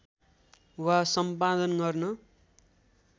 वा सम्पादन गर्न